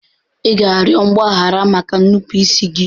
Ị ga-arịọ mgbaghara maka nnupụisi gị.